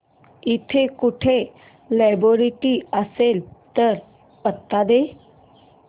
इकडे कुठे लायब्रेरी असेल तर पत्ता दे